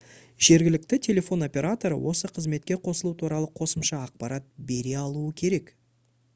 жергілікті телефон операторы осы қызметке қосылу туралы қосымша ақпарат бере алуы керек